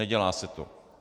Nedělá se to.